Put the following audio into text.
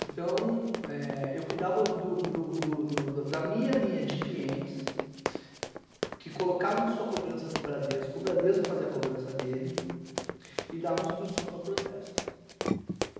Então, é, eu cuidava da minha linha de clientes, que colocavam sua cobrança no Bradesco, o Bradesco fazia a cobrança dele, e dava instrução para protesto.